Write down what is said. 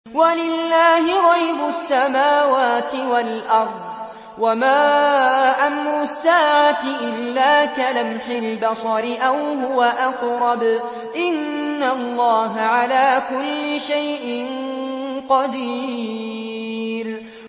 وَلِلَّهِ غَيْبُ السَّمَاوَاتِ وَالْأَرْضِ ۚ وَمَا أَمْرُ السَّاعَةِ إِلَّا كَلَمْحِ الْبَصَرِ أَوْ هُوَ أَقْرَبُ ۚ إِنَّ اللَّهَ عَلَىٰ كُلِّ شَيْءٍ قَدِيرٌ